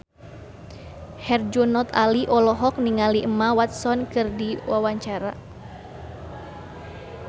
Herjunot Ali olohok ningali Emma Watson keur diwawancara